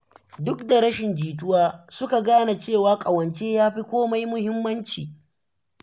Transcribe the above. Duk da rashin jituwa, suka gane cewa ƙawance yafi komai muhimmanci.